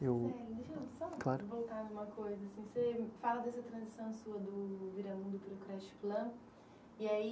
Voltar em uma coisa. Você fala dessa transição sua do Viramundo para o creche Plan, e aí